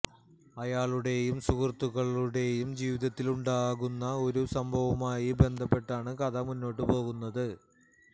അയാളുടെയും സുഹൃത്തുക്കളുടെയും ജീവിതത്തില് ഉണ്ടാകുന്ന ഒരു സംഭവവുമായി ബന്ധപ്പെട്ടാണ് കഥ മുന്നോട്ടു പോവുന്നത്